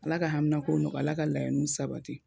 Ala ka hamina ko nɔgɔya, Ala ka laɲiniw sabati.